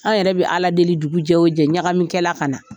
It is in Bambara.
An yɛrɛ bɛ Ala deli dugu jɛ o jɛ ɲagami kɛla ka na.